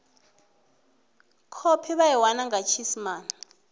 khophi ya iwalwa nga tshiisimane